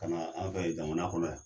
Ka na an fɛ yen jamana kɔnɔ yan.